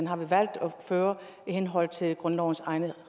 har vi valgt at føre i henhold til grundlovens egne